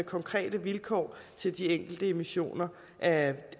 konkrete vilkår til de enkelte emissioner af